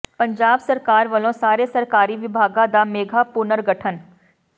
ਪੰਜਾਬ ਸਰਕਾਰ ਵੱਲੋਂ ਸਾਰੇ ਸਰਕਾਰੀ ਵਿਭਾਗਾਂ ਦਾ ਮੇਗਾ ਪੁਨਰਗਠਨ